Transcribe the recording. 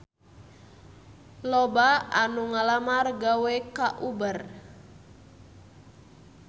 Loba anu ngalamar gawe ka Uber